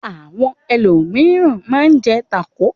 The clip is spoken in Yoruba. Àwọn ẹlòmíràn máa ń jẹ tákò.